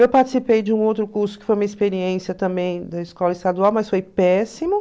Eu participei de um outro curso que foi uma experiência também da escola estadual, mas foi péssimo.